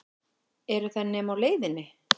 Eru þær nema á leiðinni?